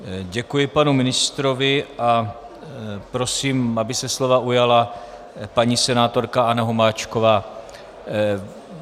Děkuji panu ministrovi a prosím, aby se slova ujala paní senátorka Anna Hubáčková.